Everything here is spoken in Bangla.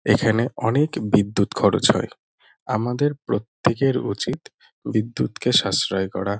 এখানে অনেক বিদ্যুৎ খরচ হয় আমাদের প্রত্যেকের উচিত বিদ্যুৎকে সাশ্রয় করা।